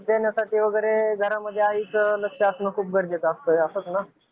सगळ्यागोष्टींकडे लक्ष देण्यासाठी घरामध्ये आईचं लक्ष असणं खूप गरजेचं असतं असंच ना.